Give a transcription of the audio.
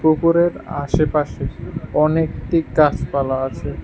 পুকুরের আশেপাশে অনেকটি গাছপালা আছে।